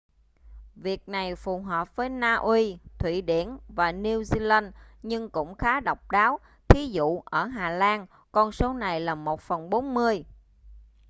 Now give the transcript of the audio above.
việc này phù hợp với na uy thụy điển và new zealand nhưng cũng khá độc đáo thí dụ: ở hà lan con số này là một phần bốn mươi